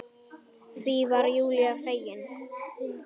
Því var Júlía fegin.